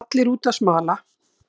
Allir úti að smala